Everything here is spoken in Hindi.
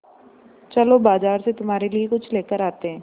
चलो बाज़ार से तुम्हारे लिए कुछ लेकर आते हैं